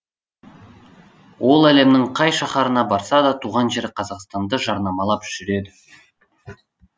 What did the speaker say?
ол әлемнің қай шаһарына барса да туған жері қазақстанды жарнамалап жүреді